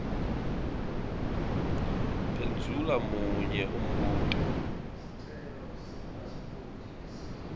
phendvula munye umbuto